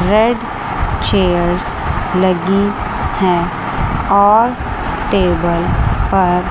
red chairs लगी हैं और टेबल पर